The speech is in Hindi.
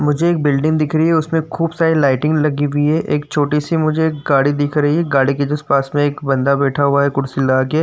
मुझे एक बिल्डिंग दिख रही है उसमे खूब सारी लाइटिंग लगी हुई है। एक छोटी सी मुझे एक गाड़ी दिख रही है। गाड़ी के जस्ट पास में एक बंदा बैठा हुआ है कुर्सी लगा के।